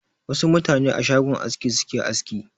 Wasu mutane a shagon aski suke aski.